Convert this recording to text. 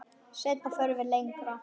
Seinna förum við lengra.